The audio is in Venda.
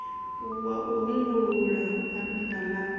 wa u hungulula bannda ḽavho